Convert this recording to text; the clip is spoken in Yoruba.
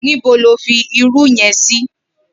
Nibó ló fi irù yèn si?